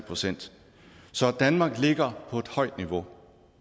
procent så danmark ligger på et højt niveau